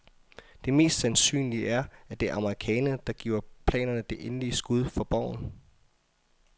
Det mest sandsynlige er, at det er amerikanerne, der giver planerne det endelige skud for boven.